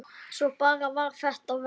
Svo bara varð þetta verra.